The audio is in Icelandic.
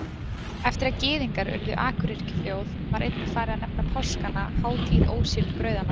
Eftir að Gyðingar urðu akuryrkjuþjóð var einnig farið að nefna páskana hátíð ósýrðu brauðanna.